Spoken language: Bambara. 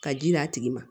Ka ji d'a tigi ma